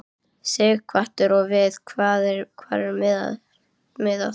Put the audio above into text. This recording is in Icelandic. Sighvatur: Og við hvað er miðað?